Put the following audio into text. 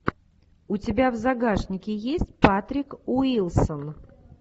у тебя в загашнике есть патрик уилсон